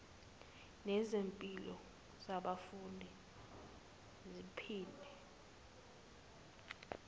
nezimpilo zabafundi ziphinde